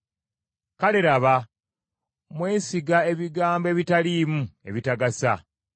Kale laba, mwesiga ebigambo ebitaliimu, ebitagasa.